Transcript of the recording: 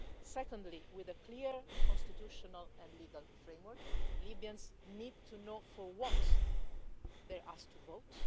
Secondly, with a clear constitutional and legal framework Libyans need to know for what they are asked to vote.